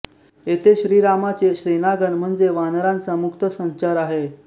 येथे श्रीरामाचे सेनागण म्हणजे वानरांचा मुक्त संचार आहे